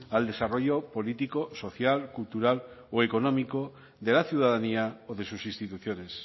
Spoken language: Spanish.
al desarrollo político social cultural o económico de la ciudadanía o de sus instituciones